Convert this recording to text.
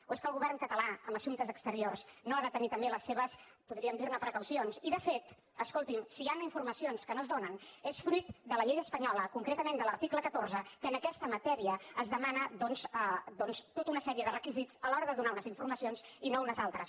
o és que el govern català en assumptes exteriors no ha de tenir també les seves podríem dirne precaucions i de fet escolti’m si hi han informacions que no es donen és fruit de la llei espanyola concretament de l’article catorze que en aquesta matèria demana tota una sèrie de requisits a l’hora de donar unes informacions i no unes altres